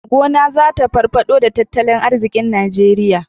Gona zata farfado da tattalin arzikin nigeria